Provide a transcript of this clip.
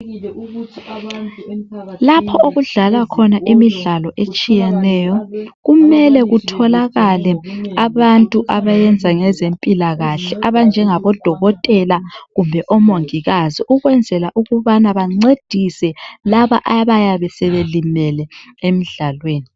Lapho okudlalwa khona imidlalo etshiyeneyo kumele kutholakale abantu abenza ngezempilakahle abanjengabo dokotela kumbe omongikazi ukwenzela ukubana bancedise labo abayabe sebelimele emdlalweni.